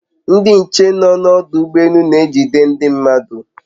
Ndị nche nọ n'ọdụ ụgbọ elu na-ejide ndị mmadụ